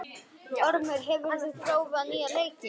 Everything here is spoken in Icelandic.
Ormur, hefur þú prófað nýja leikinn?